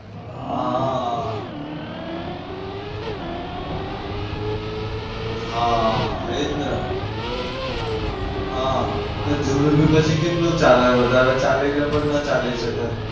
હા હા. હા એ જ ને. હા જુનું પણ પછી કેટલું ચાલે વધારે ચાલીને પણ ના ચાલી શકે.